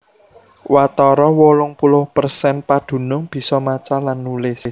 Watara wolung puluh persen padunung bisa maca lan nulis